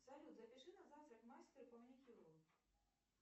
салют запиши на завтра к мастеру по маникюру